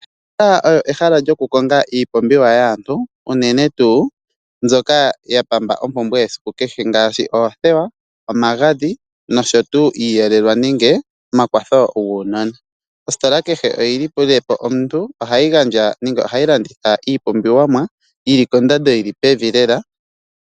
Ositola oyo ehala lyoku konga iipumbiwa yaantu, unene tuu mbyoka ya pamba ompumbwe yesiku kehe ngaashi oothewa, omagadhi noshowo tuu iiyelelwa noshowo oompumbwe dhaanona. Ositola kehe oyi lile po omuntu nohayi gandja iipumbiwa yi li kondando yi li pevi lela.